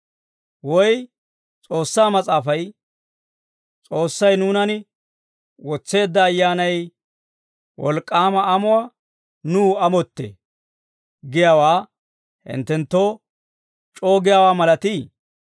Woy S'oossaa Mas'aafay, «S'oossay nuunan wotseedda Ayyaanay wolk'k'aama amuwaa nuw amottee» giyaawaa hinttenttoo c'oo giyaawaa malatii?